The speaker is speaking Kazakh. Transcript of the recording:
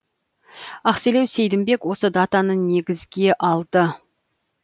ақселеу сейдімбек осы датаны негізге алды